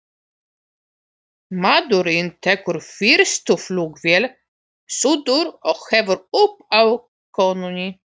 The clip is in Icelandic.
Maðurinn tekur fyrstu flugvél suður og hefur upp á konunni.